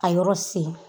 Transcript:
A yɔrɔ sen